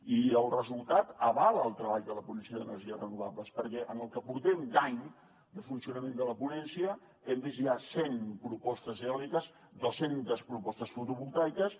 i el resultat avala el treball de la ponència d’energies renovables perquè en el que portem d’any de funcionament de la ponència hem vist ja cent propostes eòliques dos centes propostes fotovoltaiques